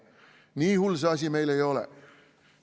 Nii hull see asi meil ei ole.